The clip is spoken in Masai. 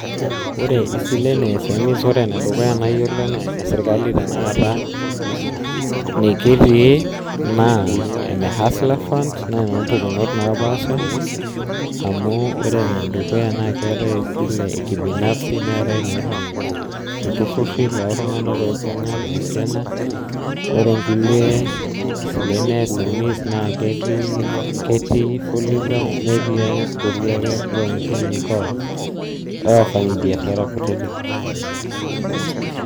Ore isileni eSMEs, ore enedukuya nayiolo anaa enesirkali tenakata nikitii naa enehuster fund naa enoo mpukunot naapasha amu ore enedukuya naa keetae esile ekibinafsi neetae inaihori iltururi loltunganak loibunga anaa esiana, ore nkulie silen eSMEs naa ketii, ketii fuliza , netii nkulie ake looni oo owafanyi biashara kutiti.